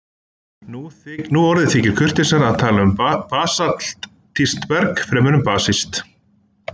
Nú orðið þykir kurteisara að tala um basaltískt berg fremur en basískt.